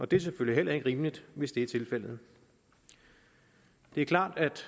det er selvfølgelig heller ikke rimeligt hvis det er tilfældet det er klart at